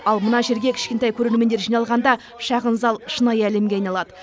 ал мына жерге кішкентай көрермендер жиналғанда шағын зал шынайы әлемге айналады